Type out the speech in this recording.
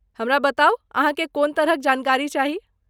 हमरा बताउ अहाँके कोन तरहक जानकारी चाही।